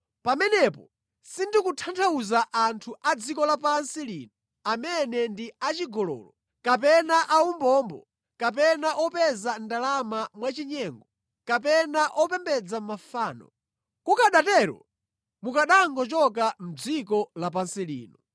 Pamenepatu sindikutanthauzatu anthu a dziko lapansi lino amene ndi achigololo, kapena aumbombo, kapena opeza ndalama mwachinyengo, kapena opembedza mafano. Kukanatero mukanangochoka mʼdziko lapansi lino.